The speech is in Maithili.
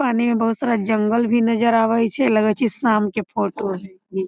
पानी में बहुत सारा जंगल भी नजर आवे छै लागे छै शाम के फोटो रहे।